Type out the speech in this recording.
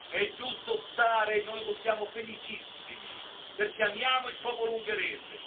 È giusto stare e noi siamo felicissimi perché amiamo il popolo ungherese.